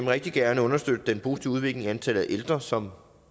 rigtig gerne understøtte den positive udvikling i antallet af ældre som